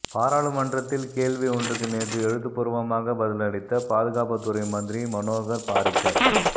பாராளுமன்றத்தில் கேள்வி ஒன்றுக்கு நேற்று எழுத்துப்பூர்வமாக பதிலளித்த பாதுகாப்புத்துறை மந்திரி மனோகர் பாரிக்கர்